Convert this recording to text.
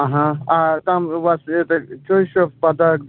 ага а там у вас это что ещё в подарок